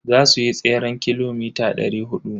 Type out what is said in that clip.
Za suyi tseren kilomita dari hudu.